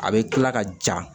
A bɛ kila ka ja